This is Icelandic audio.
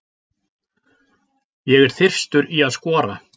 Ég er þyrstur í að skora.